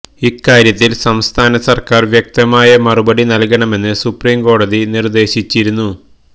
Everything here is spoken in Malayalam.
ഇക്കാര്യത്തില് സംസ്ഥാന സര്ക്കാര് വ്യക്തമായ മറുപടി നല്കണമെന്ന് സുപ്രീം കോടതി നിർദേശിച്ചിരുന്നു